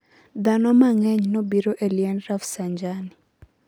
Dhano mangenyo nobiro e liend Rafsanjani